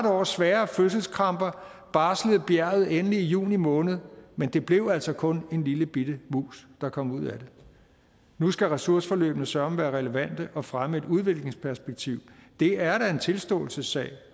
års svære fødselskramper barslede bjerget endelig i juni måned men det blev altså kun en lillebitte mus der kom ud af det nu skal ressourceforløbene søreme være relevante og fremme et udviklingsperspektiv det er da en tilståelsessag